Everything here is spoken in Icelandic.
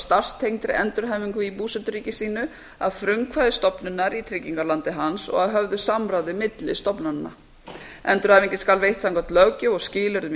starfstengdri endurhæfingu í búseturíki sínu að frumkvæði stofnunar í tryggingalandi hans og að höfðu samráði milli stofnananna endurhæfingin skal veitt samkvæmt löggjöf og skilyrðum